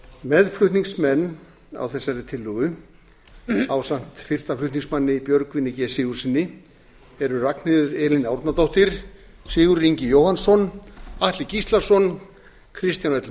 í ölfusi meðflutningsmenn á þessari tillögu ásamt fyrsta flutningsmanni björgvini g sigurðssyni eru ragnheiður elín árnadóttir sigurður ingi jóhannsson atli gíslason kristján l